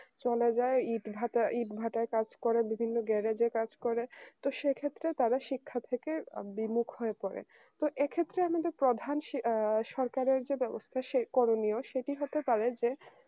চলে যায় ইটভাটার কাজ করে বিভিন্ন গ্যারেজে কাজ করে তো সে ক্ষেত্রে তারা শিক্ষা থেকে বিমুখ হয়ে পড়ে তো এক্ষেত্রে আমাদের প্রধান আ সরকারের যে ব্যবস্থা করণীয় সেটি হতে পারে যে